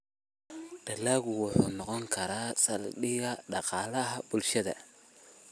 Dalaggu wuxuu noqon karaa saldhigga dhaqaalaha bulshada.